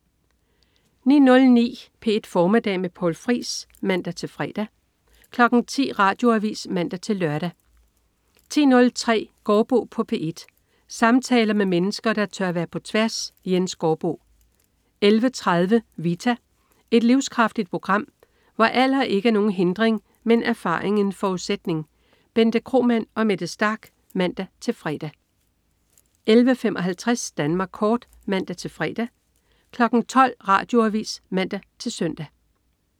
09.09 P1 Formiddag med Poul Friis (man-fre) 10.00 Radioavis (man-lør) 10.03 Gaardbo på P1. Samtaler med mennesker, der tør være på tværs. Jens Gaardbo 11.30 Vita. Et livskraftigt program, hvor alder ikke er nogen hindring, men erfaring en forudsætning. Bente Kromann og Mette Starch (man-fre) 11.55 Danmark kort (man-fre) 12.00 Radioavis (man-søn)